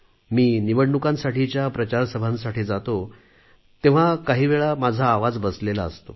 मी निवडणुकांसाठीच्या प्रचारसभांसाठी जातो तेव्हा काही वेळा माझा आवाज बसलेला असतो